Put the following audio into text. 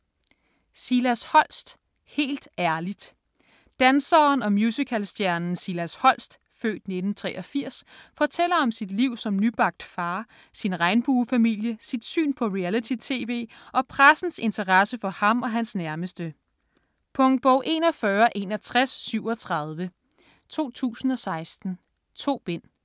Holst, Silas: Helt ærligt Danseren og musicalstjernen Silas Holst (f. 1983) fortæller om sit liv som nybagt far, sin regnbuefamilie, sit syn på reality-tv og pressens interesse for ham og hans nærmeste. Punktbog 416137 2016. 2 bind.